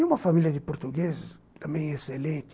E uma família de portugueses também excelente.